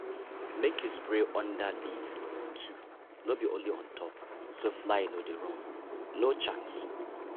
make you spray under leaf too no be only on top so fly dey run no chance!